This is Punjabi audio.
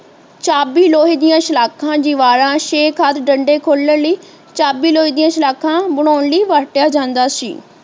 ਚਾਬੀ ਲੋਹੇ ਦੀਆਂ ਸਲਾਖਾਂ ਦੀਵਾਰਾਂ ਅਤੇ ਛੇਕ ਹੱਥ ਡੰਡੇ ਖੋਲਣ ਲਈ ਚਾਬੀ ਲੋਹੇ ਦੀਆਂ ਸਲਾਖ਼ਾਂ ਬਨਾਉਣ ਲਈ ਵਰਤਿਆਂ ਜਾਂਦਾ ਸੀ